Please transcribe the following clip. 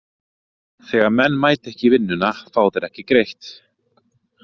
Þegar menn mæta ekki í vinnuna fá þeir ekki greitt.